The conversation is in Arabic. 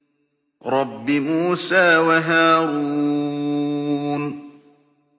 رَبِّ مُوسَىٰ وَهَارُونَ